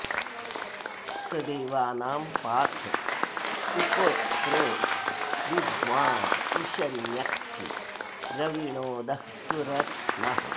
स देवानां पाथ उप प्र विद्वाँ उशन्यक्षि द्रविणोदः सुरत्नः